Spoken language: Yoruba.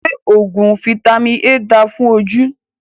Ṣé oògùn Fitami A dáa fún ojú?